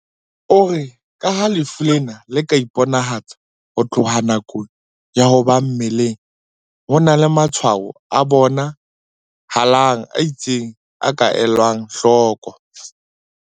O re ka ha lefu lena le ka iponahatsa ho tloha nakong ya ho ba mmeleng, ho na le matshwaho a bona halang a itseng a ka elwang hloko."